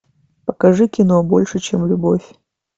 покажи кино больше чем любовь